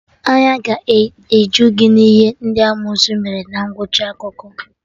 Anya ga-eju gị na ihe ndị amosu mere na ngwụcha akụkọ